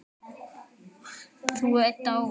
Þú ert dáinn.